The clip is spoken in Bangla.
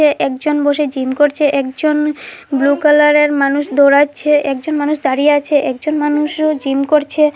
একজন বসে জিম করছে একজন ব্লু কালারের মানুষ দৌড়াচ্ছে একজন মানুষ দাঁড়িয়ে আছে একজন মানুষও জিম করছে ৎ।